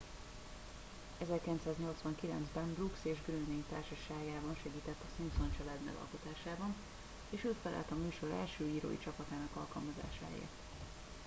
1989 ben brooks és groening társaságában segített a simpson család megalkotásában és ő felelt a műsor első írói csapatának alkalmazásáért